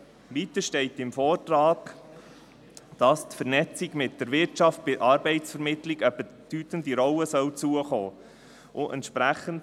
Weiter steht im Vortrag, dass der Vernetzung mit der Wirtschaft bei der Arbeitsvermittlung eine bedeutende Rolle zukommen solle.